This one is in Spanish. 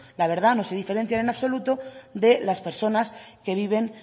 la verdad no se diferencian en absoluto de las personas que viven